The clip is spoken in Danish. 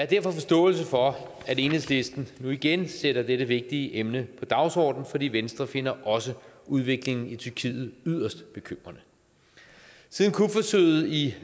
derfor forståelse for at enhedslisten nu igen sætter dette vigtige emne på dagsordenen fordi venstre finder også udviklingen i tyrkiet yderst bekymrende siden kupforsøget i